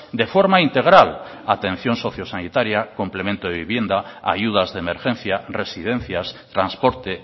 de forma integral atención socio sanitaria complemento de vivienda ayudas de emergencia residencias transporte